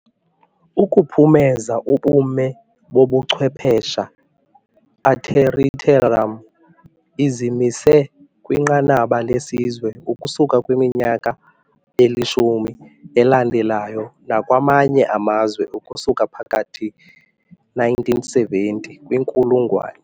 ukuphumeza "ubume" bobuchwephesha "ante litteram", izimise kwinqanaba lesizwe ukusuka kwiminyaka elishumi elandelayo nakwamanye amazwe ukusuka phakathi. -1970 kwinkulungwane.